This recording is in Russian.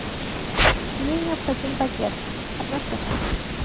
мне необходим багет одна штука